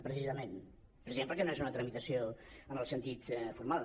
precisament perquè no és una tramitació en el sentit formal